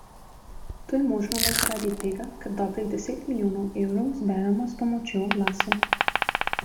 To je možno le zaradi tega, ker dobrih deset milijonov evrov zberemo s pomočjo oglasov.